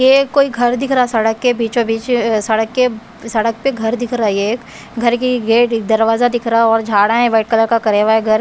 ये कोई घर दिख रहा सड़क के बीचो-बीच सड़क के सड़क पे घर दिख रहा ये एक घर की गेट दरवाजा दिख रहा और झाड़ा हैं व्हाइट कलर का करे हुआ है घर।